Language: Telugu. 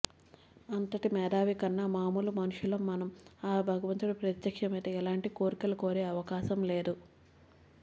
అంతటి మేధావికన్నా మామూలు మనుషులం మనం ఆ భగవంతుడు ప్రత్యక్షమైతే ఎలాంటి కోరికలు కోరే అవకాశం లేదు